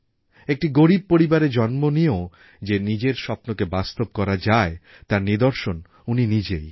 একটি গরিব পরিবারে জন্ম নিয়েও যে নিজের স্বপ্নকে বাস্তব করা যায় তার নিদর্শন উনি নিজেই